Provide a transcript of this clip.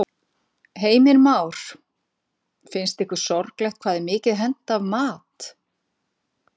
Heimir Már: Finnst ykkur sorglegt hvað er mikið hent af mat?